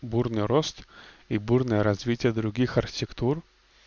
бурный рост и бурное развитие других архитектур